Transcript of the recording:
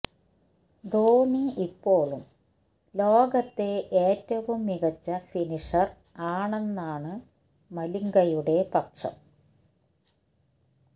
ധോണി ഇപ്പോളും ലോകത്തെ ഏറ്റവും മികച്ച ഫിനിഷർ ആണെന്നാണ് മലിംഗയുടെ പക്ഷം